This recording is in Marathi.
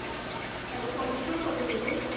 आणि पॉलिश पण करून देते.